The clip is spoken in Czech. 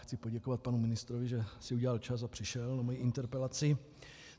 Chci poděkovat panu ministrovi, že si udělal čas a přišel na moji interpelaci.